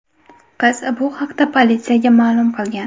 Qiz bu haqda politsiyaga ma’lum qilgan.